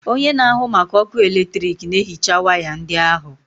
Onye na-ahụ maka ọkụ eletrik na-ehicha waya ndị ahụ.